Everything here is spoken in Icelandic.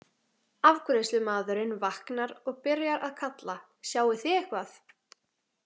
Afgreiðslumaðurinn vaknar og byrjar að kalla: Sjáið þið eitthvað?